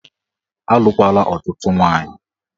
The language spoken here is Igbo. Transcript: Alụkwala ọtụtụ nwaanyị!